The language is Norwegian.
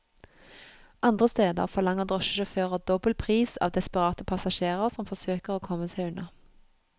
Andre steder forlanger drosjesjåfører dobbel pris av desperate passasjerer som forsøker å komme seg unna.